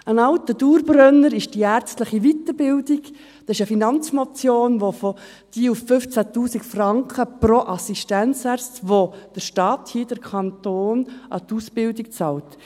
Ein alter Dauerbrenner ist die ärztliche Weiterbildung – dazu gab es eine Finanzmotion , für welche der Staat – hier der Kanton 15 000 Franken pro Assistenzarzt an die Ausbildung bezahlt.